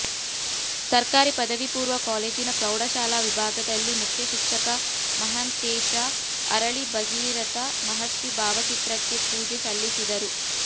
ಸರ್ಕಾರಿ ಪದವಿ ಪೂರ್ವ ಕಾಲೇಜಿನ ಪ್ರೌಢ ಶಾಲಾ ವಿಭಾಗದಲ್ಲಿ ಮುಖ್ಯಶಿಕ್ಷಕ ಮಹಾಂತೇಶ ಅರಳಿ ಭಗೀರಥ ಮಹರ್ಷಿ ಭಾವಚಿತ್ರಕ್ಕೆ ಪೂಜೆ ಸಲ್ಲಿಸಿದರು